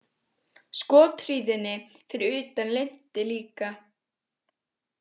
Skothríðinni fyrir utan linnti líka.